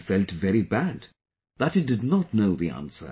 He felt very bad that he did not know the answer